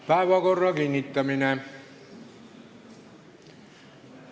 Päevakorra kinnitamine.